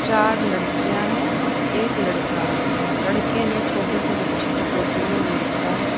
चार लड़कियां है और एक लड़का है लड़के ने छोटे से बच्चे को गोदी में ले रखा है।